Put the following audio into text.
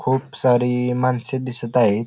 खूप सारी मानसे दिसत आहे.